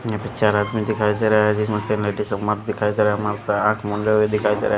ये पिक्चर रात में दिखाई दे रहा है जिसमें दिखाई दे रहा दिखाई दे रहा है।